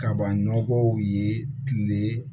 Kaban nɔgɔw ye kile